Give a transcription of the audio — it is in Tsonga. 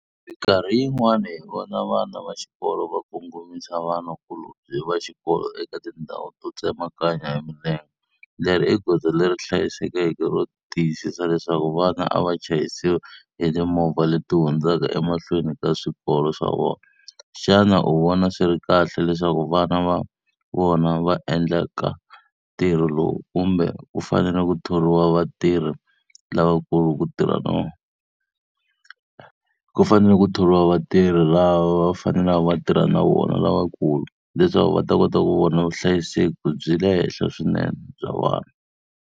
Mikarhi yin'wana hi vona vana va xikolo va kongomisa vanakulobye va xikolo eka tindhawu to tsemakanya hi milenge. Leri i goza leri hlayisekeke ro tiyisisa leswaku vana a va chayisiwi hi timovha leti hundzaka emahlweni ka swikolo swa vona. Xana u vona swi ri kahle leswaku vana va ku va vona va endlaka ntirho lowu kumbe ku fanele ku thoriwa vatirhi lavakulu ku tirha . Ku fanele ku thoriwa vatirhi lava va fanelaka va tirha na vona lavakulu, leswaku va ta kota ku vona vuhlayiseki bya le henhla swinene bya vana.